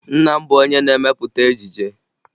Nna m bụ onye na-emepụta ejije